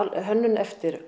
hönnun eftir